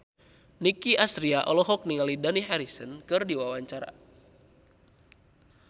Nicky Astria olohok ningali Dani Harrison keur diwawancara